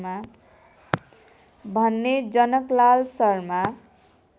भन्ने जनकलाल शर्मा